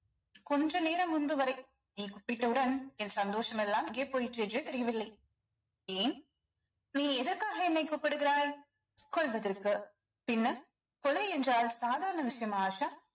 கொஞ்ச நேரம் முன்பு வரை நீ கூப்பிட்டவுடன் என் சந்தோஷம் எல்லாம் எங்க போயிற்று என்றே தெரியவில்லை ஏன் நீ எதற்காக என்னை கூப்பிடுகிறாய் கொல்வதற்கு பின்ன கொலை என்றால் சாதாரண விஷயமா ஆஷா